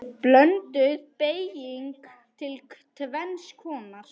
Blönduð beyging er tvenns konar